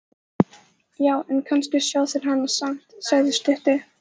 Já, en kannski sjá þeir hana samt, sagði sá stutti.